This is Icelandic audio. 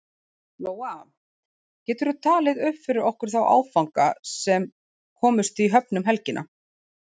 Lóa: Geturðu talið upp fyrir okkur þá áfanga sem komust í höfn um helgina?